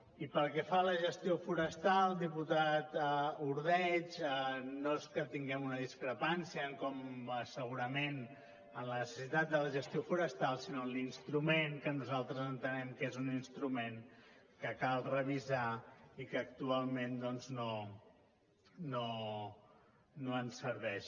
i pel que fa a la gestió forestal diputat ordeig no és que tinguem una discrepància segurament en la necessitat de la gestió forestal sinó en l’instrument que nosaltres entenem que és un instrument que cal revisar i que actualment no ens serveix